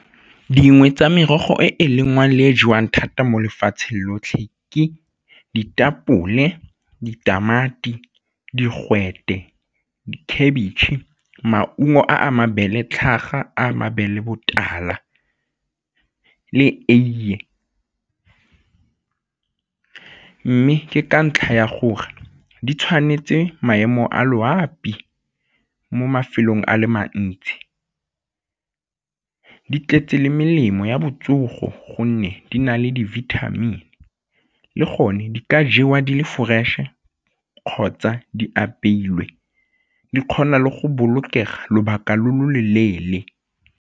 Dingwe tsa merogo e e lengwang le e jewang thata mo lefatsheng lotlhe ke ditapole, ditamati, digwete, khabetšhe, maungo a mabele, tlhaga a mabele botala le eiye mme ke ka ntlha ya gore di tshwanetse maemo a loapi mo mafelong a le mantsi. Di tletse le melemo ya botsogo gonne di na le di-vitamin le gone di ka jewa di le fresh-e kgotsa di apeilwe di kgona le go bolokega lobaka lo lo loleele.